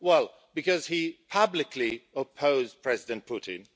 Well because he publicly opposed President Putin.